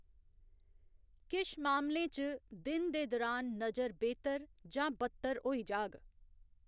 किश मामलें च, दिन दे दुरान नजर बेह्‌तर जां बद्तर होई जाह्‌‌ग।